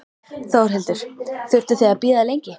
Þórhildur: Þurftuð þið að bíða lengi?